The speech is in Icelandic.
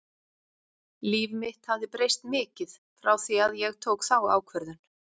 Líf mitt hafði breyst mikið frá því að ég tók þá ákvörðun.